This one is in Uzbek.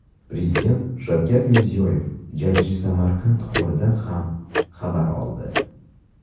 Prezident Shavkat Mirziyoyev jajji Samandar holidan ham xabar oldi.